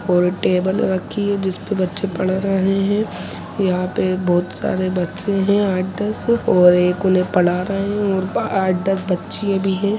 यहाँ एक टेबल रखी है जिस पर बच्चे पढ़ रहे है यहां पे बहुत सारे बच्चे है आठ दस और एक उन्हें पढ़ रहे है और आठ दस बच्चीया भी है।